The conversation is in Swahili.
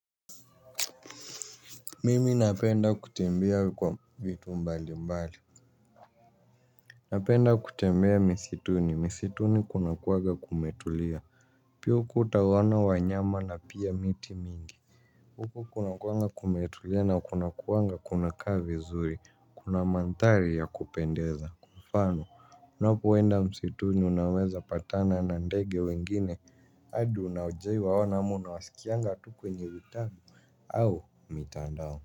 Mimi napenda kutembea kwa vitu mbali mbali. Napenda kutembea msituni, msituni kuna kuwaga kumetulia. Pia kutawana wanyama na pia miti mingi. Huko kunakuwanga kumetulia na kuna kuwanga kuna kaa vizuri, kuna manthari ya kupendeza, kwa mfano unapo enda msituni unaweza patana na ndege wengine adi wenye hujawahi waona ama unaswaikianga tu kwenye mtaa o nje utabi au mitandao.